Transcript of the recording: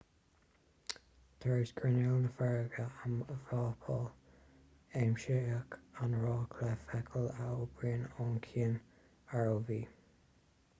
tar éis grinneall na farraige a mhapáil aimsíodh an raic le feithicil a oibríonnn ó chian rov